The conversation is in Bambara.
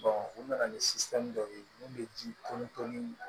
u nana ni dɔ ye mun bɛ ji tɔn ni